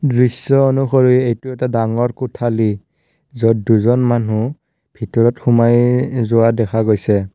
দৃশ্য অনুসৰি এইটো এটা ডাঙৰ কোঠালী য'ত দুজন মানুহ ভিতৰত সোমাই যোৱা দেখা গৈছে।